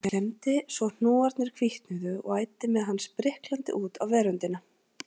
Hann klemmdi svo hnúarnir hvítnuðu og æddi með hann spriklandi út á veröndina.